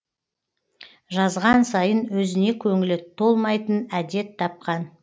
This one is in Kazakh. жазған сайын өзіне көңілі толмайтын әдет тапқан